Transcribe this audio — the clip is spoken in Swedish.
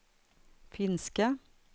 finska